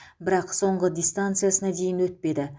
бірақ соңғы дистанциясына дейін өтпеді